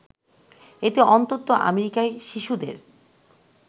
এতে অন্তত আমেরিকায় শিশুদের